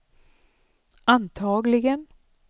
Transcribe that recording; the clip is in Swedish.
antagligen